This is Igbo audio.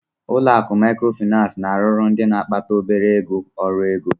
Ụlọ akụ Maịkrofịnansị na-arụrụ ndị na-akpata obere ego ọrụ ego.